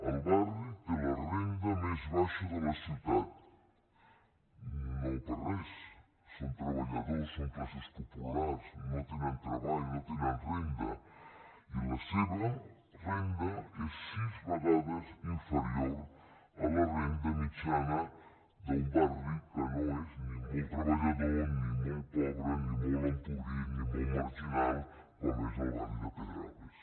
el barri té la renda més baixa de la ciutat no per res són treballadors són classes populars no tenen treball no tenen renda i la seva renda és sis vegades inferior a la renda mitjana d’un barri que no és ni molt treballador ni molt pobre ni molt empobrit ni molt marginal com és el barri de pedralbes